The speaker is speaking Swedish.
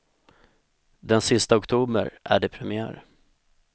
Den sista oktober är det premiär.